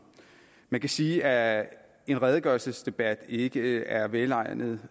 man kan sige at en redegørelsesdebat ikke er velegnet